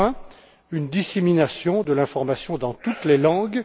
Enfin, une dissémination de l'information dans toutes les langues.